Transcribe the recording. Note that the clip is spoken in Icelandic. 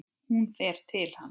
Hún fer til hans.